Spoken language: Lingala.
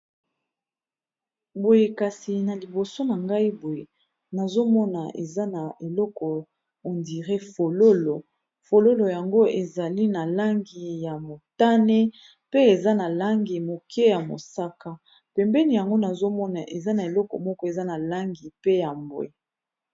Boye kasi na liboso na ngai boye nazomona eza na eloko on dire fololo, fololo yango ezali na langi ya motane pe eza na langi moke ya mosaka pembeni yango nazomona eza na eloko moko eza na langi pe ya mbwe.